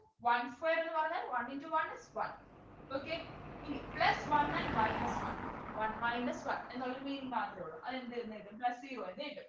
one square ന്നു പറഞ്ഞാൽ one into one one okay ഇനി plus one and minus one one minus one എന്നുള്ളൊരു meaning മാത്രേ ഉള്ളു അത് എന്ത് എന്ന് കിട്ടും plus zero എന്ന് കിട്ടും